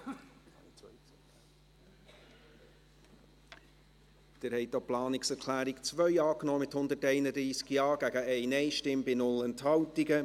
Sie haben auch die Planungserklärung 2 angenommen, mit 131 Ja-Stimmen gegen 1 Nein-Stimme bei 0 Enthaltungen.